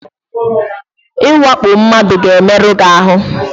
Ịwakpo mmadụ ga-emerụ gị ahụ.